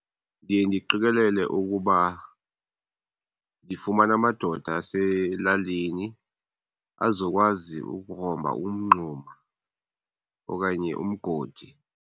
Ndiye ndiqikelele ukuba ndifumana amadoda aselalini azokwazi ukugrumba umngxuma okanye umgodi.